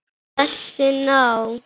Þessi ná